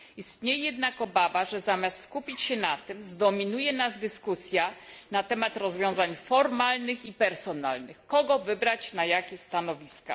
Istnieje jednak obawa, że zamiast skupić się na tym, zdominuje nas dyskusja na temat rozwiązań formalnych i personalnych kogo wybrać na jakie stanowiska?